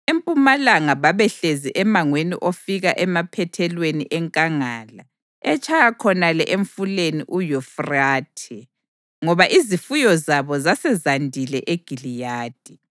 Empumalanga babehlezi emangweni ofika emaphethelweni enkangala etshaya khonale eMfuleni uYufrathe, ngoba izifuyo zabo zasezandile eGiliyadi.